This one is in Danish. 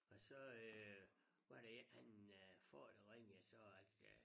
Og så øh var der en han øh far der ringede og sagde at øh